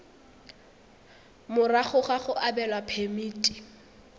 morago ga go abelwa phemiti